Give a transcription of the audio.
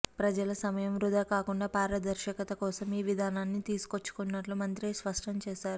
ప్రజల సమయం వృథా కాకుండా పారదర్శకత కోసం ఈ విధానాన్ని తీసుకొచ్చినట్లు మంత్రి స్పష్టం చేశారు